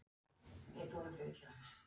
En þeirra sakna ég æ meir sem árin líða.